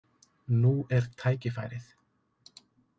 Nú er tækifærið.